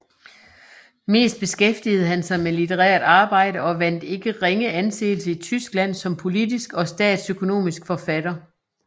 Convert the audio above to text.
Mest beskæftigede han sig med litterært arbejde og vandt ikke ringe anseelse i Tyskland som politisk og statsøkonomisk forfatter